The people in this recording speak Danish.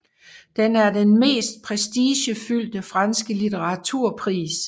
Den er den mest prestigefyldte franske litteraturpris